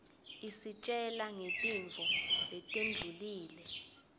isitjela ngetintfo letendlulile